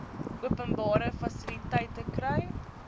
openbare fasiliteite kry